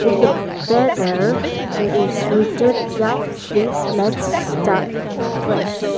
in the banner there is written young fit let's start fresh.